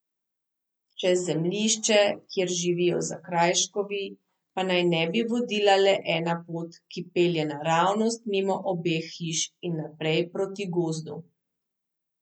Čez zemljišče, kjer živijo Zakrajškovi, pa naj ne bi vodila le ena pot, ki pelje naravnost mimo obeh hiš in naprej proti gozdu.